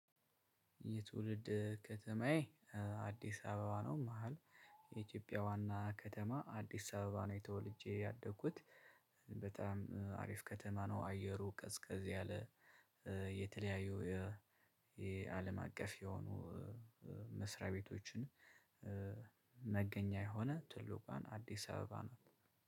የትውልድ ከተማዬ አዲስ አበባ ነው። መሃል የኢትዮጵያ ዋና ከተማ አዲስ አበባ ነው። የተወልጄ ያደግኩት። በጣም አሪፍ ከተማ ነው። አየሩ ቀዝቀዝ ያለ። የተለያዩ የአለም አቀፍ የሆኑ መስሪያ ቤቶችን መገኛ የሆነ ትልቋን አዲስ አበባ ናት